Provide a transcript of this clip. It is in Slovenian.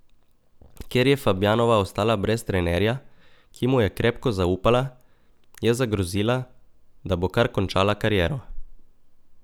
Ker je Fabjanova ostala brez trenerja, ki mu je krepko zaupala, je zagrozila, da bo kar končala kariero.